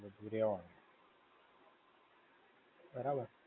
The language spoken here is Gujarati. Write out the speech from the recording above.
બધું રહેવાનું. બરાબર.